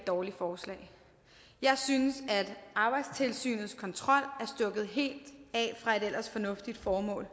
dårligt forslag jeg synes arbejdstilsynets kontrol er stukket helt af fra et ellers fornuftigt formål